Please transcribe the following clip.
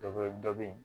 Dɔ wɛrɛ dɔ be yen